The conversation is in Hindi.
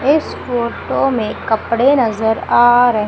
इस फोटो में कपड़े नजर आ रहे--